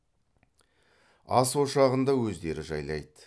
ас ошағын да өздері жайлайды